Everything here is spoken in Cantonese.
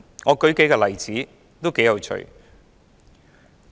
我舉數個例子，頗有趣的。